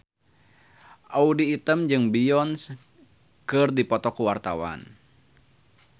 Audy Item jeung Beyonce keur dipoto ku wartawan